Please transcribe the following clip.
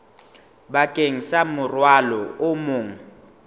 bakeng sa morwalo o mong